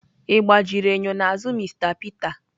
Egbajiri enyo n'azụ Mr Peter.